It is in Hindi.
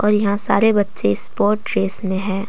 यहां सारे बच्चे स्पोर्ट ड्रेस में है।